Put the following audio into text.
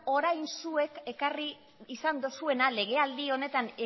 orain zuek ekarri izan dozuena legealdi honetan